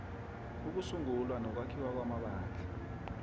ukusungulwa nokwakhiwa kwamabandla